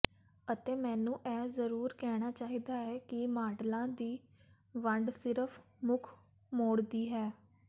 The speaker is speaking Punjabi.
ਅਤੇ ਮੈਨੂੰ ਇਹ ਜ਼ਰੂਰ ਕਹਿਣਾ ਚਾਹੀਦਾ ਹੈ ਕਿ ਮਾਡਲਾਂ ਦੀ ਵੰਡ ਸਿਰਫ ਮੁਖ ਮੋੜਦੀ ਹੈ